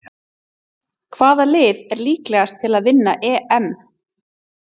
Hvaða lið er líklegast til að vinna EM?